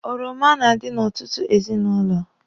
Oroma na-adi n'ọtụtụ ezinụlọ.